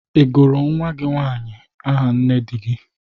Ị gụrụ nwa gị nwaanyị nne dị gị?